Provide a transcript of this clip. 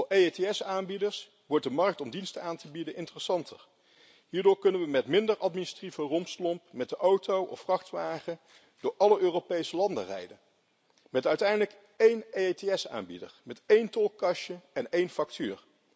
Voor EETS-aanbieders wordt de markt om diensten aan te bieden interessanter. Hierdoor kunnen we met minder administratieve rompslomp met de auto of vrachtwagen door alle Europese landen rijden, met uiteindelijk één EETS-aanbieder, met één tolkastje en één factuur.